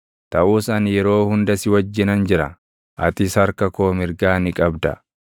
Taʼus ani yeroo hunda si wajjinan jira; atis harka koo mirgaa ni qabda.